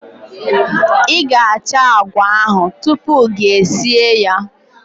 I ga-achọ agwa ahụ tupu gi esie ya.